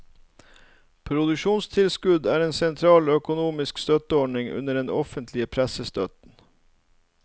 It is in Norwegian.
Produksjonstilskudd er en sentral økonomisk støtteordning under den offentlige pressestøtten.